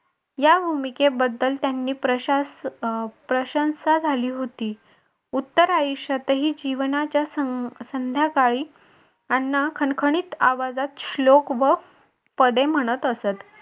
या भूमिकेबद्दल त्यांनी प्रशंसा झाली होती. उत्तरायुष्यात ही जीवनाच्या संध्याकाळी अण्णा खणखणीत आवाजात श्लोक व पदे म्हणत असत.